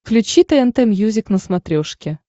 включи тнт мьюзик на смотрешке